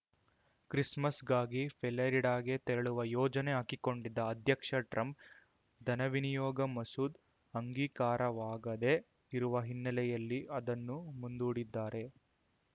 ಕ್ರಿಸ್‌ಮಸ್‌ಗಾಗಿ ಫೇಲಾರಿಡಾಗೆ ತೆರಳುವ ಯೋಜನೆ ಹಾಕಿಕೊಂಡಿದ್ದ ಅಧ್ಯಕ್ಷ ಟ್ರಂಪ್‌ ಧನವಿನಿಯೋಗ ಮಸೂದ್ ಅಂಗೀಕಾರವಾಗದೇ ಇರುವ ಹಿನ್ನೆಲೆಯಲ್ಲಿ ಅದನ್ನು ಮುಂದೂಡಿದ್ದಾರೆ